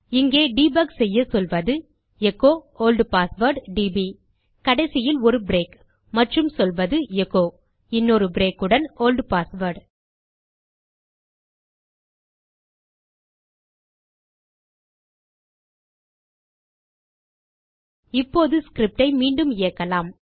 இங்கே டெபக் செய்ய சொல்வது எச்சோ ஒல்ட் பாஸ்வேர்ட் டிபி கடைசியில் ஒரு பிரேக் மற்றும் சொல்வது எச்சோ இன்னொரு பிரேக் உடன் ஒல்ட் பாஸ்வேர்ட் இப்போது ஸ்கிரிப்ட் ஐ மீண்டும் இயக்கலாம்